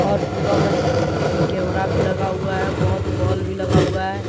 और पूरा में सी_सी_टी_वी कैमरा भी लगा हुआ है बहोत बल्ब भी लगा हुआ है।